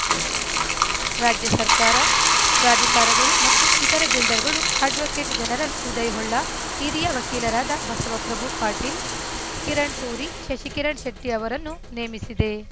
ರಾಜ್ಯ ಸರ್ಕಾರ ಪ್ರಾಧಿಕಾರಗಳು ಮತ್ತು ಇತರೆ ಬಿಲ್ಡರ್‌ಗಳು ಅಡ್ವೋಕೇಟ್‌ ಜನರಲ್‌ ಉದಯ್‌ ಹೊಳ್ಳ ಹಿರಿಯ ವಕೀಲರಾದ ಬಸವ ಪ್ರಭು ಪಾಟೀಲ್‌ ಕಿರಣ್‌ ಸೂರಿ ಶಶಿಕಿರಣ್‌ ಶೆಟ್ಟಿಅವರನ್ನು ನೇಮಿಸಿದೆ